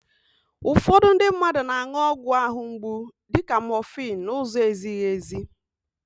Ụfọdụ ndị mmadụ na-an̄ụ ọgwụ àhụ́ mgbu dịka mọfịn n'ụzọ ezighi èzí.